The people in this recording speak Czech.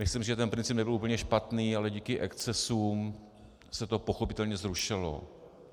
Myslím, že ten princip nebyl úplně špatný, ale díky excesům se to pochopitelně zrušilo.